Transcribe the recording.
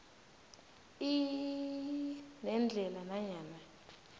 iii nendlela nanyana